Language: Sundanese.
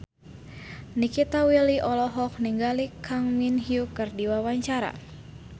Nikita Willy olohok ningali Kang Min Hyuk keur diwawancara